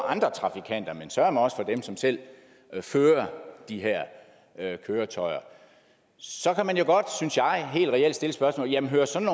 andre trafikanter men søreme også for dem som selv fører de her køretøjer så kan man jo godt synes jeg helt reelt stille spørgsmålet jamen hører sådan